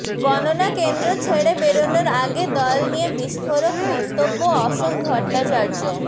গণনাকেন্দ্র ছেড়ে বেরনোর আগে দল নিয়ে বিস্ফোরক মন্তব্য অশোক ভট্টাচার্য